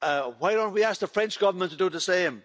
Why don't we ask the French Government to do the same?